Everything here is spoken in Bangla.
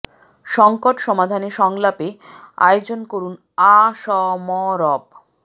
সঙ্কট সমাধানে সংলাপের আয়োজন করুন আ স ম রব